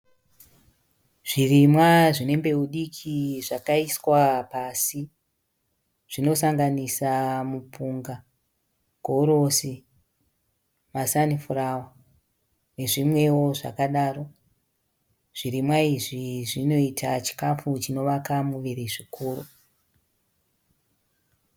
Zvirimwa zvine mbeu diki zvakaiswa pasi. Zvinosanganisa mupunga, gorosi, masanifurawa nezvimwewo zvakadaro. Zvirimwa izvi zvinoita chikafu chinovaka muviri zvikuru.